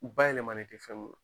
U bayɛlɛmanen tɛ fɛn m